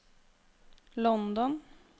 London